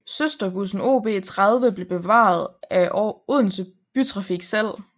Søsterbussen OB 30 blev bevaret af Odense Bytrafik selv